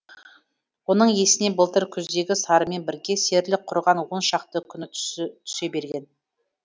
оның есіне былтыр күздегі сарымен бірге серілік құрған он шақты күні түсе берген